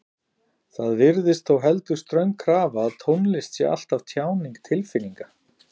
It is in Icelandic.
Það virðist þó heldur ströng krafa að tónlist sé alltaf tjáning tilfinninga.